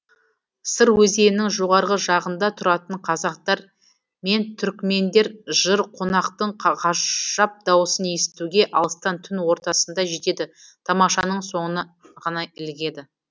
сыр өзенінің жоғарғы жағында тұратын қазақтар мен түркімендер жыр қонақтың ғажап даусын естуге алыстан түн ортасында жетеді тамашаның соңына ғана ілігеді